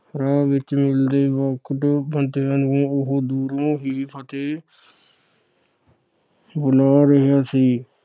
ਰਾਹ ਵਿਚ ਮਿਲਦੇ ਵੱਖ ਵੱਖ ਬੰਦਿਆਂ ਨੂੰ ਉਹ ਦੂਰੋਂ ਹੀ ਫ਼ਤਹ ਬੁਲਾ ਰਿਹਾ ਸੀ।